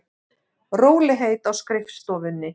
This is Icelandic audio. Rólegheit á skrifstofunni.